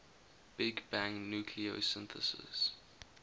big bang nucleosynthesis